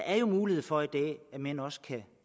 er mulighed for at mænd også kan